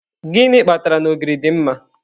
Gịnị kpatara na ogiri dị mma.